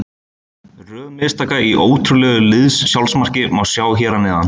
Röð mistaka í ótrúlegu liðs-sjálfsmarki má sjá hér að neðan.